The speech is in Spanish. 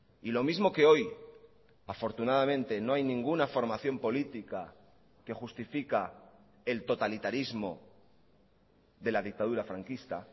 y lo mismo que hoy afortunadamente no hay ninguna formación política que justifica el totalitarismo de la dictadura franquista